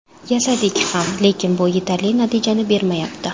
Yasadik ham, lekin bu yetarli natijani bermayapti.